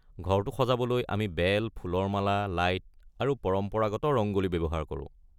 ঘৰটো সজাবলৈ আমি বেল, ফুলৰ মালা, লাইট আৰু পৰম্পৰাগত ৰংগ'লী ব্যৱহাৰ কৰোঁ।